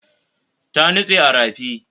Ta nutse a rafi